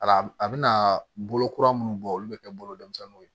A a bɛna bolo kura minnu bɔ olu bɛ kɛ bolomisɛnninw ye